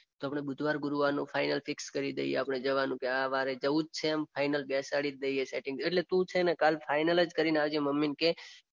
તો આપણે બુધવાર ગુરુવારનું ફાઇનલ ફિક્સ કરીજ દઈએ આપણે જવાનું કે વારે જવાનું કે આ વારે જવું જ છે એમ ફાઇનલ બેસાડી જ દઈએ સેટિંગ એટલે તું જ છે ને કાલે ફાઇનલ જ કરીને આવજે મમ્મીને કે.